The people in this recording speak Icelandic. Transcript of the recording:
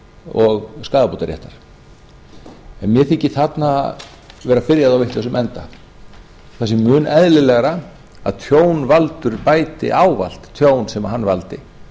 og skaðabótaréttar en mér þykir þarna vera byrjað á vitlausum enda það sé mun eðlilegra að tjónvaldur bæti ávallt tjón sem hann valdi